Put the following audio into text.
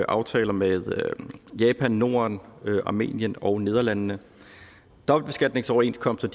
aftaler med japan norden armenien og nederlandene dobbeltbeskatningsoverenskomster